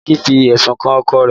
Biliki fi ẹ̀sùn kan ọkọ rẹ̀